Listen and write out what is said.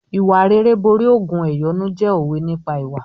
"Ìwà rere borí ògùn ẹ̀yọ́nú" jẹ́ òwe nípa ìwà.